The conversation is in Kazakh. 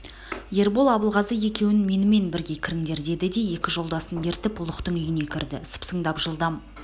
ербол абылғазы екеуің менімен бірге кіріңдер деді де екі жолдасын ертіп ұлықтың үйіне кірді сыпсыңдап жылдам